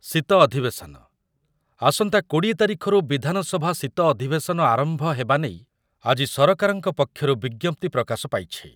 ଶୀତ ଅଧିବେଶନ, ଆସନ୍ତା କୋଡିଏ ତାରିଖରୁ ବିଧାନସଭା ଶୀତ ଅଧିବେଶନ ଆରମ୍ଭ ହେବା ନେଇ ଆଜି ସରକାରଙ୍କ ପକ୍ଷରୁ ବିଜ୍ଞପ୍ତି ପ୍ରକାଶ ପାଇଛି।